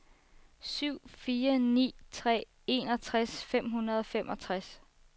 syv fire ni tre enogtres fem hundrede og femogtres